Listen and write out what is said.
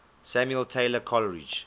samuel taylor coleridge